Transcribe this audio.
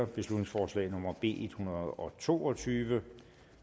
beslutningsforslag nummer b en hundrede og to og tyve